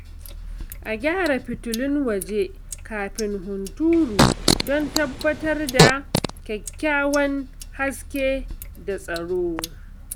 A gyara fitilun waje kafin hunturu don tabbatar da kyakkyawan haske da tsaro.